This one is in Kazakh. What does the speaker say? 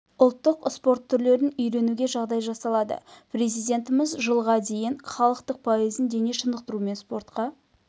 ұлттық спорт түрлерін үйренуге жағдай жасалады президентіміз жылға дейін халықтың пайызын дене шынықтыру мен спортқа